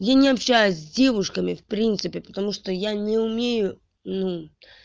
я не общаюсь с девушками в принципе потому что я не умею ну